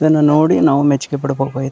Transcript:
ಇದನ್ನ ನೋಡಿ ನಾವು ಮೆಚ್ಚುಗೆ ಪಡಬೇಕು ಇದ್ರು --